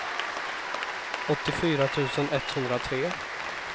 åttiofyra tusen etthundratre